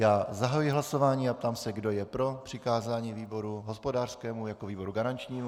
Já zahajuji hlasování a ptám se, kdo je pro přikázání výboru hospodářskému jako výboru garančnímu?